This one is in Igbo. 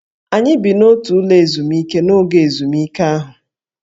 Anyị bi n'otu ụlọ ezumike n'oge ezumike ahụ